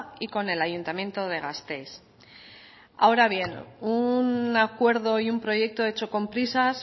y con el ayuntamiento de gasteiz ahora bien un acuerdo y un proyecto hecho con prisas